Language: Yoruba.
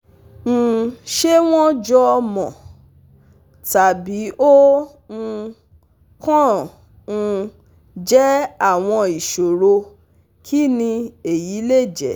um Ṣé wọ́n wọ́n jọmọ, tàbí ó um kàn um jẹ́ àwọn ìṣòro kini eyi le je?